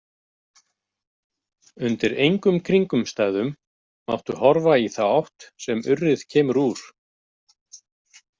Undir engum kringumstæðum máttu horfa í þá átt sem urrið kemur úr.